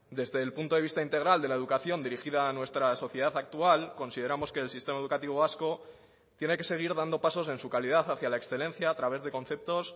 desde el punto de vista integral de la educación dirigida a nuestra sociedad actual consideramos que el sistema educativo vasco tiene que seguir dando pasos en su calidad hacia la excelencia a través de conceptos